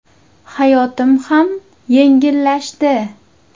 Hayotim ham yengillashdi.